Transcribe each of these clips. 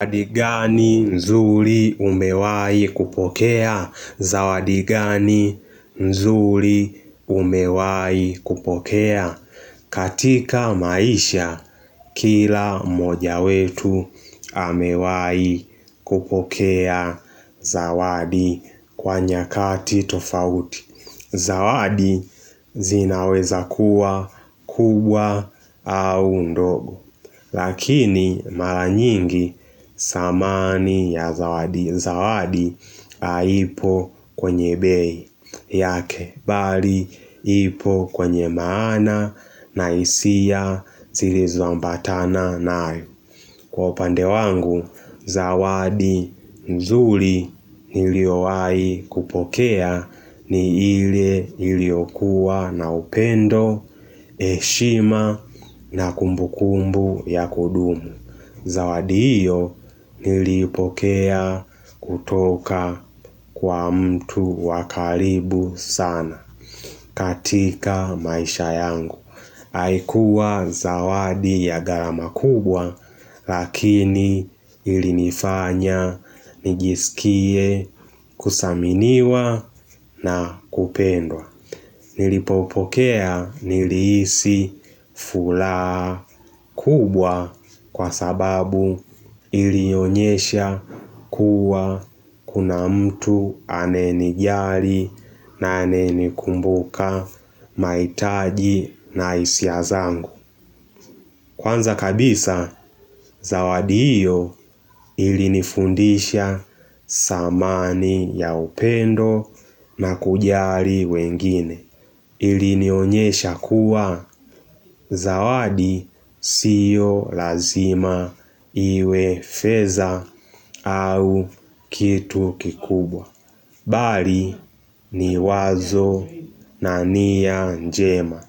Zawadi gani mzuri umewai kupokea? Zawadi gani mzuri umewai kupokea? Katika maisha, kila moja wetu amewai kupokea zawadi kwa nyakati tofauti. Zawadi zinaweza kuwa, kubwa au ndogo. Lakini mara nyingi samani ya zawadi, zawadi haipo kwenye bei yake, bali ipo kwenye maana na isia zilizoambatana nayo. Kwa upande wangu, zawadi nzuri niliyowahi kupokea ni ile nilio kuwa na upendo, heshima na kumbu kumbu ya kudumu. Zawadi hiyo nilipokea kutoka kwa mtu wakaribu sana katika maisha yangu. Haikuwa zawadi ya garama kubwa lakini ilinifanya nijisikie kusaminiwa na kupendwa Nilipopokea niliisi furaha kubwa kwa sababu ilionyesha kuwa kuna mtu anayenijari na anayenikumbuka maitaji na isia zangu Kwanza kabisa, zawadi hiyo ili nifundisha samani ya upendo na kujari wengine. Ili nionyesha kuwa zawadi siyo lazima iwe fedha au kitu kikubwa. Bali ni wazo na niya njema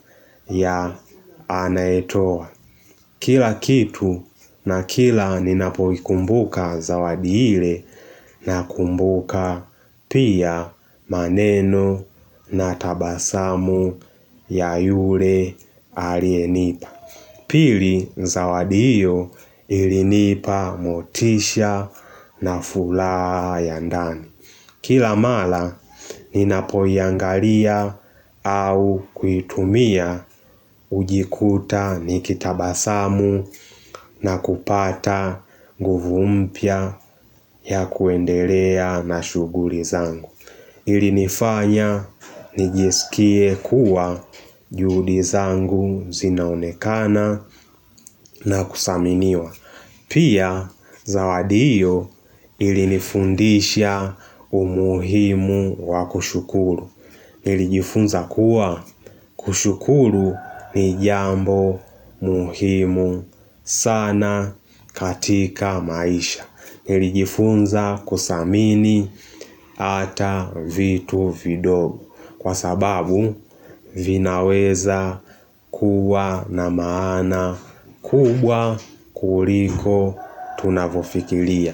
ya anayetoa. Kila kitu na kila ninapoikumbuka zawadi hile na kumbuka pia maneno na tabasamu ya yule aliyenipa. Pili zawadi hiyo ilinipa motisha na fulaa ya ndani. Kila mala ninapoiyangalia au kuitumia hujikuta ni kitabasamu na kupata nguvu mpya ya kuendelea na shuguri zangu. Ilinifanya nijsikie kuwa judi zangu zinaonekana na kusaminiwa. Pia zawadi hiyo ilinifundisha umuhimu wakushukuru nilijifunza kuwa kushukuru ni jambo muhimu sana katika maisha Nilijifunza kusamini ata vitu vidogo Kwa sababu vinaweza kuwa na maana kubwa kuliko tunavyofikilia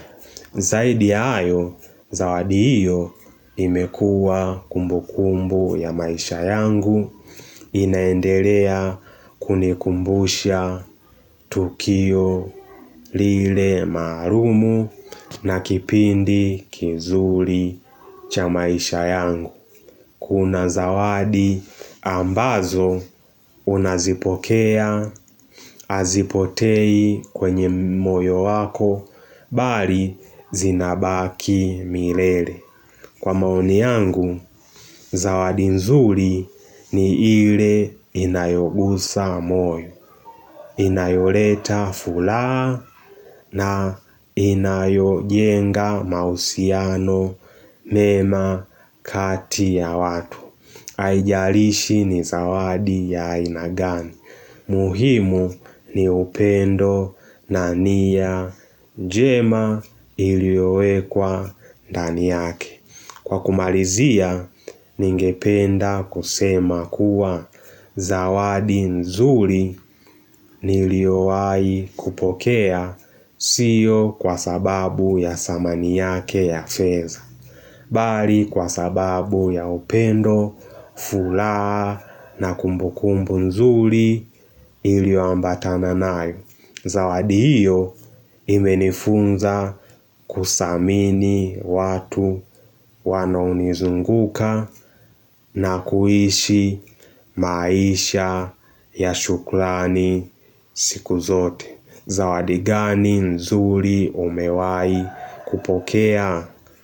Zaidi ayo zawadi hiyo imekua kumbu kumbu ya maisha yangu inaendelea kunikumbusha tukio lile maalumu na kipindi kizuri cha maisha yangu Kuna zawadi ambazo unazipokea hazipotei kwenye moyo wako bali zinabaki milele Kwa maoni yangu zawadi nzuri ni ile inayoguza moyo Inayoleta furaha na inayojenga mahusiano mema kati ya watu Aijarishi ni zawadi ya aina gani. Muhimu ni upendo na niya jema iliyowekwa ndani yake. Kwa kumalizia, ningependa kusema kuwa zawadi nzuri niliyowai kupokea sio kwa sababu ya samani yake ya fedha. Bali kwa sababu ya upendo, furaha na kumbu kumbu nzuri ilioambatana nayo. Zawadi hiyo imenifunza kusamini watu wanaonizunguka na kuishi maisha ya shukrani siku zote. Zawadi gani nzuri umewai kupokea?